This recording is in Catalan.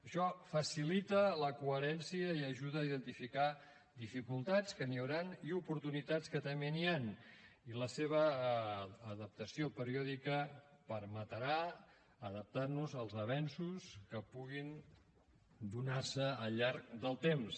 això facilita la coherència i ajuda a identificar dificultats que n’hi hauran i oportunitats que també n’hi han i la seva adaptació periòdica permetrà adaptar nos als avenços que puguin donar se al llarg del temps